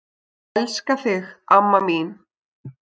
Elska þig, amma mín.